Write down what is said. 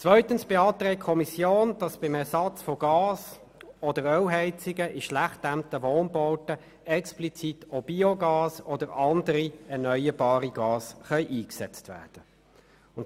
Zweitens beantragt die Kommission, dass bei einem Ersatz von Gas- oder Ölheizungen in schlecht gedämmten Wohnbauten explizit auch Biogas oder andere erneuerbare Gase eingesetzt werden können.